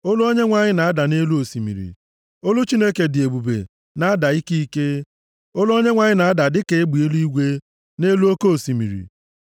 Olu Onyenwe anyị na-ada nʼelu osimiri; olu Chineke dị ebube na-ada ike ike, olu Onyenwe anyị na-ada dịka egbe eluigwe + 29:3 \+xt Job 37:4-5; Abụ 18:13\+xt* nʼelu oke osimiri.